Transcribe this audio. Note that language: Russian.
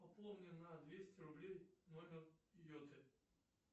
пополни на двести рублей номер йоты